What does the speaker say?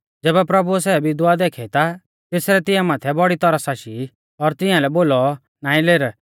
ज़ैबै प्रभुऐ सै विधवा देखी ता तेसरै तिंया माथै बौड़ी तरस आशी और तिंया लै बोलौ नाईं लेर